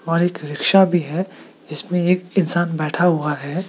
और एक रिक्शा भी है जिसमें एक इंसान बैठा हुआ है।